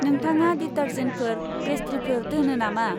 नोंथाङा दिटारजेन्टफोर, पेस्त्रिफोर दोनो नामा?